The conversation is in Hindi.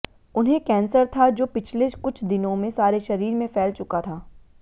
उन्हें कैंसर था जो पिछले कुछ दिनों में सारे शरीर में फैल चुका था